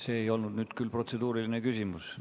See ei olnud nüüd küll protseduuriline küsimus.